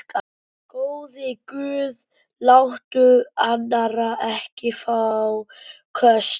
Góði Guð, láttu Arnar ekki fá köst.